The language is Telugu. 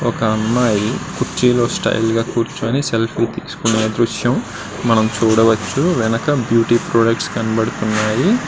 ఒక అమ్మాయి కుర్చీలో స్టైల్ గా కూర్చుని సెల్ఫీ తీసుకున్న దృశ్యం మనము చూడవచ్చు. వెనక బ్యూటీ ప్రొడక్ట్స్ కనిపిస్తున్నాయి.